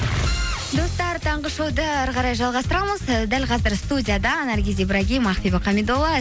достар таңғы шоуды әрі қарай жалғастырамыз і дәл қазір студияда наргиз ибрагим ақбибі хамидолла